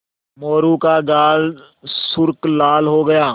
मोरू का गाल सुर्ख लाल हो गया